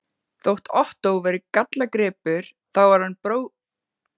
Þótt Ottó væri gallagripur, þá var hinn bróðirinn sýnu verri.